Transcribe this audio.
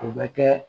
O bɛ kɛ